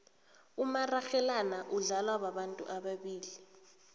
umararhelana udlalwa babantu ababili